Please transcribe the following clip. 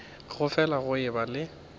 go fele go eba le